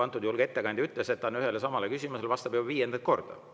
Antud juhul ettekandja ütles, et ta vastab ühele ja samale küsimusele juba viiendat korda.